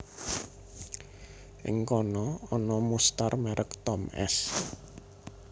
Ing kana ana mustar merek Tom s